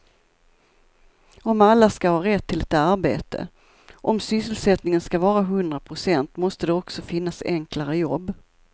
Om alla ska ha rätt till ett arbete, om sysselsättningen ska vara hundra procent måste det också finnas enklare jobb.